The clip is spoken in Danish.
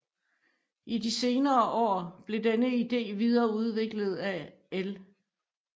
I de senere år blev denne idé videreudviklet af L